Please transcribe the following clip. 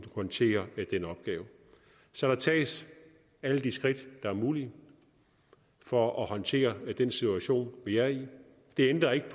håndtere den opgave så der tages alle de skridt der er mulige for at håndtere den situation vi er i det ændrer ikke